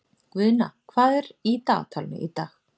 Guðna, hvað er í dagatalinu í dag?